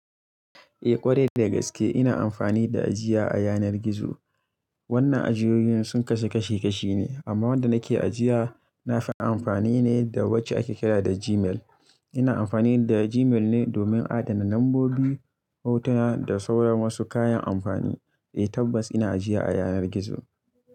Eh ƙwarai da gaske ina amfani da ajiya a yanar gizo. Wannan ajiyoyin sun kasu kashi kashi ne amma wanda nake ajiya nafina amfani ne da wacce ake kira da Gmail. Ina amfani da Gmail ne domin adana lambobi, hotuna da sauran wasu kayan amfani. Eh tabbas ina ajiya a yanar gizo.